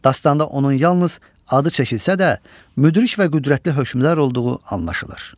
Dastanda onun yalnız adı çəkilsə də, müdrik və qüdrətli hökmdar olduğu anlaşılır.